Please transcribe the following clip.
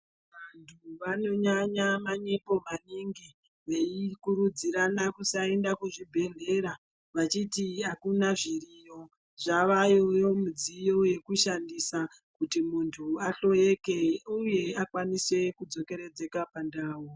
Vanthu vanonyanya manyepo maningi veikurudzirana kusaenda kuzvibhedhlera vechiti akuna zviriyo. Zvavayo midziyo yekushandisa kuti munthu ahloyeke, uye akwanise kudzokeredzeka pandau.